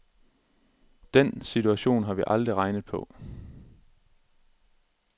Den situation har vi aldrig regnet på.